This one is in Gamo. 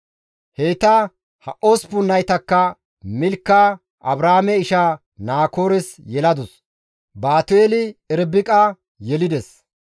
Heyta he osppun naytakka Milka Abrahaame isha Naakoores yeladus; Baatu7eeli Irbiqa yelides.